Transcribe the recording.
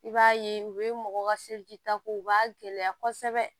I b'a ye u bɛ mɔgɔw ka ta k'u b'a gɛlɛya kosɛbɛ